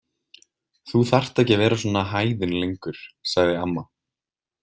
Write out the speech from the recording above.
Þú þarft ekki að vera svona hæðin lengur, sagði amma.